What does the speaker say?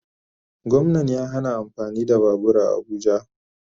Gwamnan ya hana amfani da babur a abuja